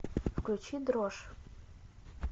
включи дрожь